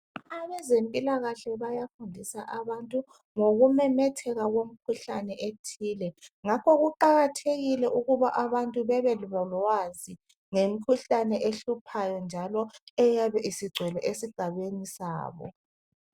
Abezempilakahle bayafundisa abantu ngokumemetheka kwemikhuhlane ethile ngakho kuqakathekile ukuba abantu babelolwazi ngemikhuhlane ehluphayo njalo eyabe isigcwele esigabeni sabo.